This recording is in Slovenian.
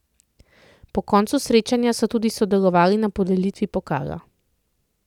Po koncu srečanja so tudi sodelovali na podelitvi pokala.